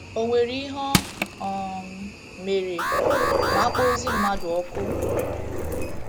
Ò nwere ihe o um mere ma a kpọọ ozu mmadụ ọkụ?